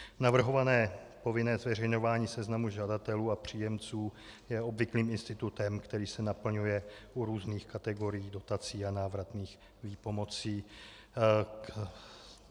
Navrhované povinné zveřejňování seznamu žadatelů a příjemců je obvyklým institutem, který se naplňuje u různých kategorií dotací a návratných výpomocí.